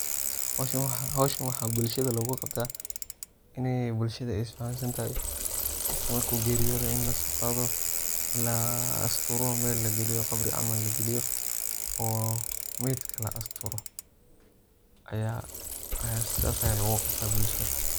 xowshan waxa bulshidhi lowqabti ini bulshadha isfahansantahy qofka marku geriyodha ina lasoqadhao la asturo mel lagiliyo qabri camal lagiliyo oo maitka laasturo aya sidhas aya lowqabta bulshdha